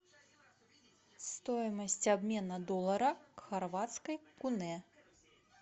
стоимость обмена доллара к хорватской куне